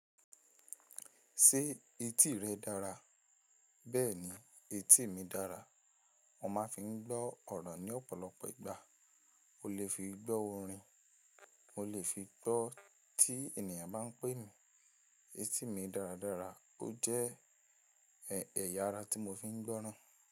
Ṣé etí rẹ dára? Bẹ́ẹ̀ni, etí mi dára. Wọ́n máa fi ń gbọ́ ọ̀rọ̀ ní ọ̀pọ̀lọpọ̀ ìgbà. Mo lè fi gbọ́ orin, mo lè fi gbọ́ tí ènìyàn bá ń pe mi. Èti mi dáradára, ó jẹ́ ẹ̀ya ara tí mo fi ń gbọ́ran.